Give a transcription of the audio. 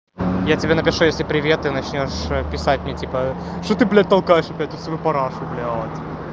я тебе напишу если привет ты начнёшь писать мне типа что ты блять только что ты блять талкаешь эту свою парашу блять